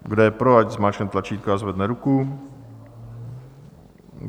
Kdo je pro, ať zmáčkne tlačítko a zvedne ruku.